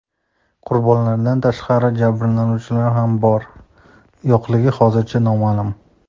Qurbonlardan tashqari jabrlanuvchilarning ham bor-yo‘qligi hozircha noma’lum.